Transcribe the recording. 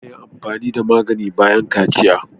Ana amfani da magani bayan kaciya.